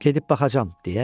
Gedib baxacam,